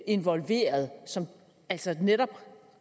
involveret som altså netop